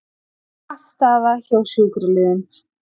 Pattstaða hjá sjúkraliðum